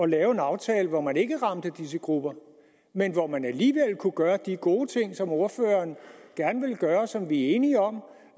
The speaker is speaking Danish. lave en aftale hvor man ikke ramte disse grupper men hvor man alligevel kunne gøre de gode ting som ordføreren gerne vil gøre og som vi er enige om